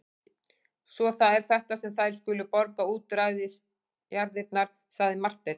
Svo það er þetta sem þær skulu borga útræðisjarðirnar, sagði Marteinn.